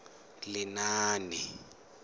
lenaane